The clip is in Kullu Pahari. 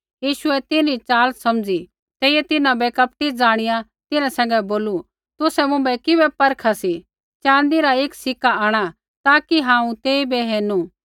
यीशुऐ तिन्हरी च़ाल समझ़ी तेइयै तिन्हां बै कपट ज़ाणिया तिन्हां सैंघै बोलू तुसै मुँभै किबै परखा सी च़ाँदी रा एक सिक्का आंणा ताकि हांऊँ तेइबै हेरणू